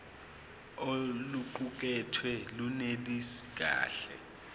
oluqukethwe lunelisi kahle